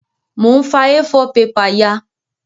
Mo n fa A4 paper ya